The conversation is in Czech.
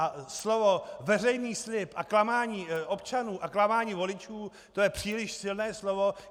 A slovo veřejný slib a klamání občanů a klamání voličů, to je příliš silné slovo.